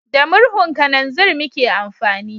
Da murhun kananzir muke amfani